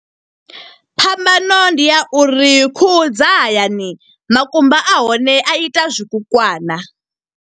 Phambano ndi ya uri khuhu dza hayani, makumba a hone a ita zwikukwana.